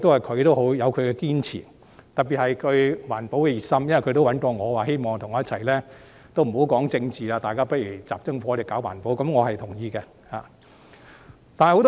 他亦有他的堅持，特別是他對環保的熱心，他曾找我表示不談政治，只集中火力搞環保，我是同意的。